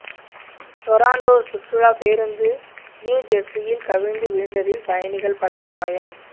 Toronto சுற்றுலா பேருந்து நியுஜெர்ஸியில் கவிழ்ந்து விழுந்ததில் பயணிகள் பலர் காயம்